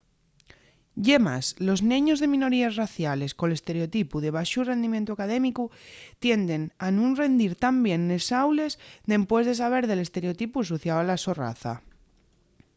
ye más los neños de minoríes raciales col estereotipu de baxu rendimientu académicu tienden a nun rendir tan bien nes aules dempués de saber del estereotipu asociáu a la so raza